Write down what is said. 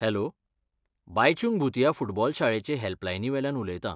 Hello, Baichung Bhutia football शाळेचे हेल्पलायनीवेल्यान उलयतां.